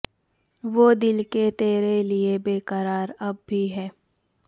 وہ دل کہ تیرے لئے بےقرار اب بھی ہے